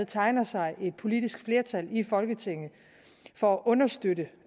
tegner sig et politisk flertal i folketinget for at understøtte